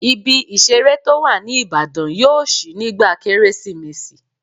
Ibi ìseré tó wà ní Ìbàdàn yóò ṣí nígbà kérésìmesì